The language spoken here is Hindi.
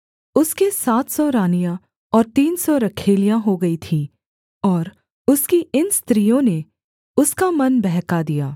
उसके सात सौ रानियाँ और तीन सौ रखैलियाँ हो गई थीं और उसकी इन स्त्रियों ने उसका मन बहका दिया